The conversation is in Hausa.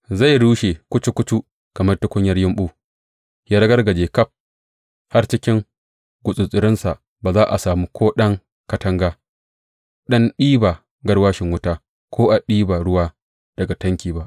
Zai rushe kucu kucu kamar tukunyar yumɓu, ya ragargaje ƙaf har cikin gutsattsarinsa ba za a sami ko ɗan katanga don ɗiba garwashin wuta ko a ɗiba ruwa daga tanki ba.